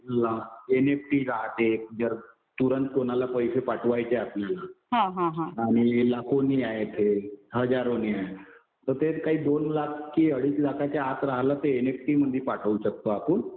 NFT राहते. जर तुरंत कुणाला पैसे पाठवायचे आपल्याला आणि लाखोंनी आहे ते, हजारोंच्या आहे. तर ते काही दोन लाख कि अडीच लाखाच्या आत राहिलं तर एनएफटि मध्ये पाठवू शकतो आपण.